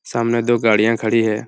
सामने दो गाड़ियां खड़ी हैं।